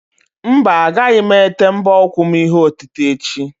Mba, agaghị m ete mbọ ụkwụ m ihe otite echi.